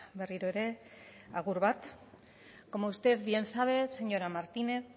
berriro ere agur bat como usted bien sabe señora martínez